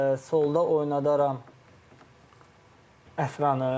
Solda oynadardım Əfranı.